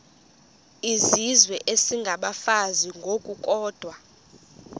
izizwe isengabafazi ngokukodwa